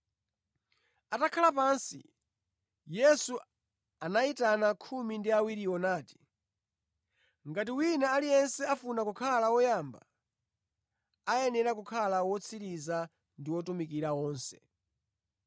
Atakhala pansi, Yesu anayitana khumi ndi awiriwo nati, “Ngati wina aliyense afuna kukhala woyamba, ayenera kukhala wotsiriza ndi wotumikira onse.”